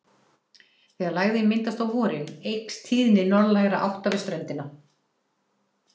Þegar lægðin myndast á vorin eykst tíðni norðlægra átta við ströndina.